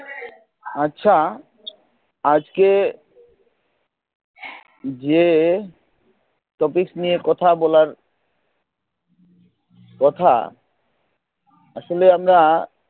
আচ্ছা আজকে যে topics নিয়ে কথা বলার কথা আসলে আমরা